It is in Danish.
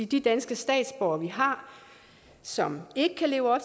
de danske statsborgere vi har som ikke kan leve op